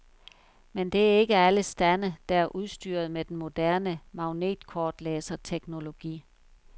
Men det er ikke alle stande, der er udstyret med den moderne magnetkortlæserteknologi.